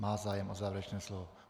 Má zájem o závěrečné slovo.